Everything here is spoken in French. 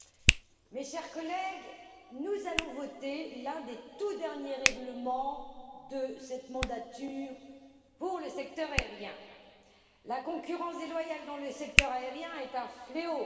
Monsieur le Président, mes chers collègues, nous allons voter sur l'un des tout derniers règlements de cette mandature pour le secteur aérien. La concurrence déloyale dans le secteur aérien est un fléau.